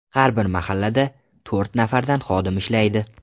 Har bir mahallada to‘rt nafardan xodim ishlaydi.